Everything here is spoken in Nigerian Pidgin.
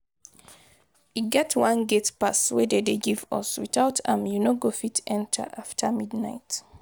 E get one gate pass de dey give us, without am you no go fit enter after midnight.